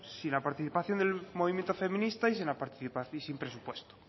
sin la participación del movimiento feminista y sin presupuesto